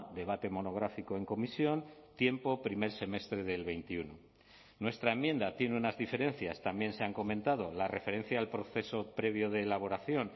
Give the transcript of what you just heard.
debate monográfico en comisión tiempo primer semestre del veintiuno nuestra enmienda tiene unas diferencias también se han comentado la referencia al proceso previo de elaboración